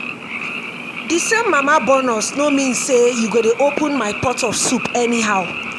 the same mama born us no mean say you go dey open my pot of soup anyhow